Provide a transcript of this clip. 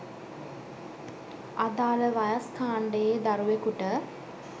අදාළ වයස්‌ කාණ්‌ඩයේ දරුවෙකුට